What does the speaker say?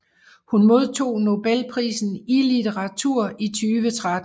Hun modtog Nobelprisen i litteratur i 2013